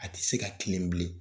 A tɛ se ka tilen bilen